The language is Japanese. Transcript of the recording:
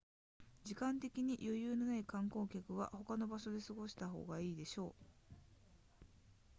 時間的に余裕のない観光客は他の場所で過ごした方が良いでしょう